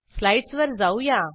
slides वर जाऊया